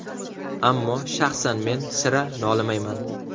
Ammo shaxsan men sira nolimayman.